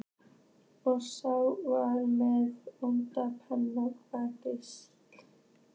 Og ég á varla nóga peninga fyrir gistingu.